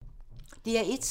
DR1